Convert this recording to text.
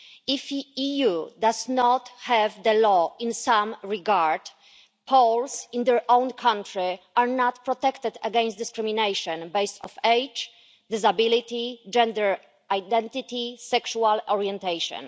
If the EU does not have a law in some regard, Poles in their own country are not protected against discrimination based on age, disability, gender identity or sexual orientation.